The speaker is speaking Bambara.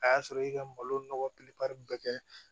A y'a sɔrɔ i ka malo nɔgɔ be kɛ